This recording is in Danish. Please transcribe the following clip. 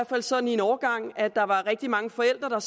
fald sådan i en overgang at der var rigtig mange forældre